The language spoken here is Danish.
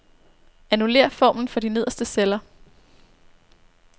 Annullér formlen for de nederste celler.